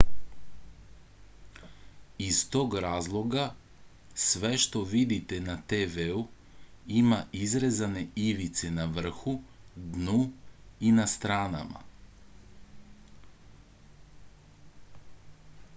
iz tog razloga sve što vidite na tv-u ima izrezane ivice na vrhu dnu i na stranama